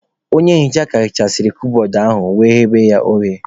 Onye nhicha ka hichasịrị kabọọdụ ahu wee ghewe ya oghe.